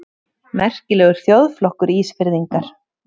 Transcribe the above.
Merkilegur þjóðflokkur, Ísfirðingar!